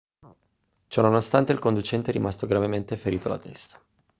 ciò nonostante il conducente è rimasto gravemente ferito alla testa